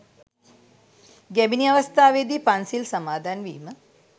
ගැබිණි අවස්ථාවේදී පන්සිල් සමාදන්වීම